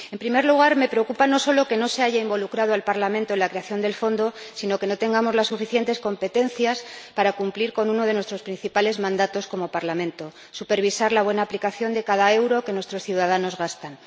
En primer lugar, me preocupa no solo que no se haya involucrado al Parlamento en la creación del fondo, sino que no tengamos las suficientes competencias para cumplir con uno de nuestros principales mandatos como Parlamento supervisar la buena aplicación de cada euro que nuestros ciudadanos gastan.